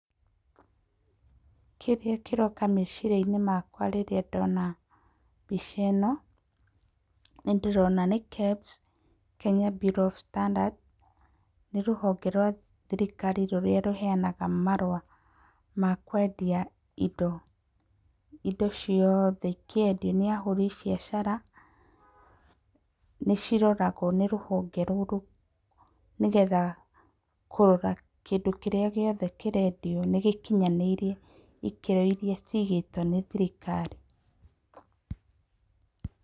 Kĩrĩa kĩroka meciria-inĩ makwa rĩrĩa ndona mbica ĩno, nĩ ndĩrona nĩ KEBS Kenya Bureau of Standards. Nĩ rũhonge rwa thirikari rũrĩa rũheanaga marũa ma kwendia indo. Indo ciothe ikĩendio nĩ ahũri biathara, nĩ ciroragwo nĩ rũhonge rũrũ nĩ getha kũrora kĩndũ kĩrĩa gĩothe kĩrendio nĩ gĩkinyanĩirie ikĩro iria ciigĩtwo nĩ thirikari.